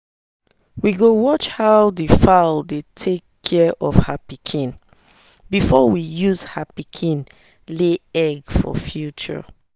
we go watch how the fowl dey take care of her pikin before we use her pikin lay egg for future.